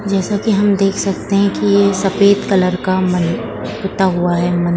जैसा की हम देख सकते हैं की ये सफेद कलर का मन पूता हुआ है मन --